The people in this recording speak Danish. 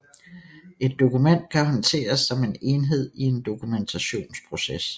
Et dokument kan håndteres som en enhed i en dokumentationsproces